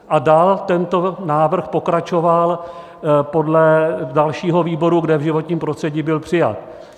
A dál tento návrh pokračoval do dalšího výboru, kde v životním prostředí byl přijat.